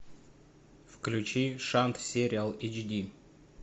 включи шант сериал эйч ди